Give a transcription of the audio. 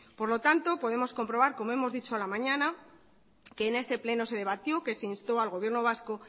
por lo tanto podemos comprobar como hemos dicho a la mañana que en ese pleno se debatió que se instó al gobierno vasco